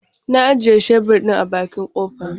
Ya ajiye shebur ɗin a bakin kofa.